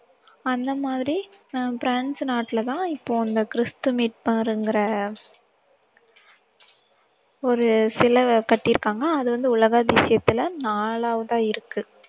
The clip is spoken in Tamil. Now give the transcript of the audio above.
அந்த மாதிரி அஹ் பிரான்ஸ் நாட்டுல தான் இப்போ இந்த கிறிஸ்து மீட்பாருங்கற ஒரு சிலை கட்டியிருக்காங்க அது வந்து உலக அதிசயத்துல நாலாவதா இருக்கு